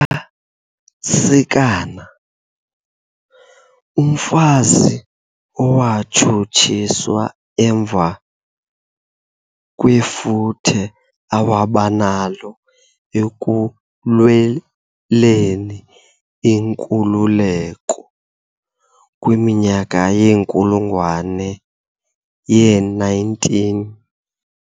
Nyakasikana, umfazi owatshutshiswa emva kwefuthe awabanalo ekulweleni inkululeko kwiminyaka yenkulungwane ye-19.